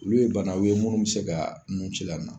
Olu ye bannaw ye munnu be se ka nun ci la na.